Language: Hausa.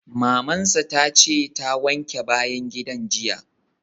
Maman sa ta ce ta wanke bayan gidan jiya.